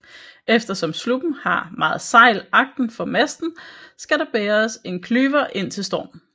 Eftersom sluppen har meget sejl agtenfor masten skal der bæres en klyver indtil storm